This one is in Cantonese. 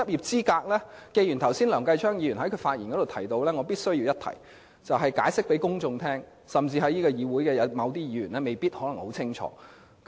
針對梁繼昌議員剛才的發言，我必須向公眾解釋執業資格和執業的分別，議會中的某些議員也未必清楚這點。